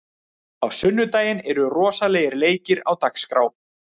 Á sunnudaginn eru rosalegir leikir á dagskrá.